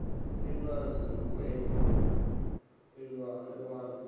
elwazi nokhwekhwe iwalo